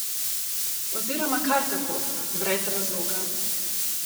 Oziroma kar tako, brez razloga.